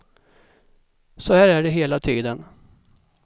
Så här är det hela tiden.